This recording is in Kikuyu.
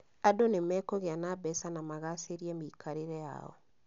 Andũ nĩmekũgĩa na mbeca na magacĩrie mĩikarĩre yao